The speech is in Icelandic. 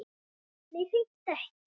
Nei, hreint ekki.